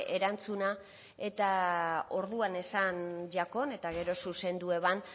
erantzuna eta orduan esan jakon eta gero zuzendu eban